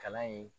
Kalan ye